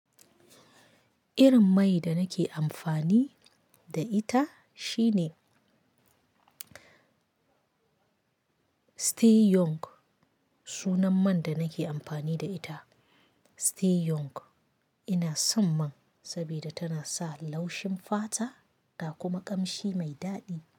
Irin mai da nake amfani da ita shine stay young sunan man da nake amfani da ita stay young. Ina son man saboda tana sa laushin fata ta kuma ƙamshi mai daɗi.